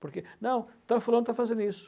Porque, não, estão falando, estão fazendo isso.